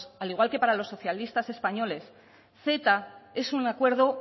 al igual que para los socialistas españoles ceta es un acuerdo